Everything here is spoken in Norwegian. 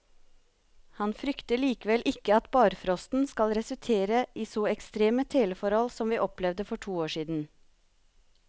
Han frykter likevel ikke at barfrosten skal resultere i så ekstreme teleforhold som vi opplevde for to år siden.